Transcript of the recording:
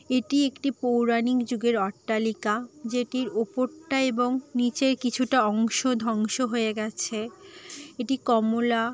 এটি একটি পৌরাণিক যুগের অট্টালিকা যেটির উপর টা এবং নিচে কিছুটা অংশ ধ্বংস হয়ে গেছে এটি কমলা--